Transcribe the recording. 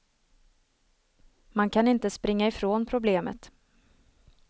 Man kan inte springa ifrån problemet.